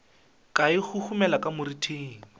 ka e huhumela ka moriting